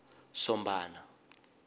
sombana